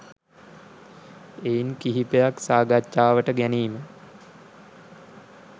එයින් කිහිපයක් සාකච්ඡාවට ගැනීම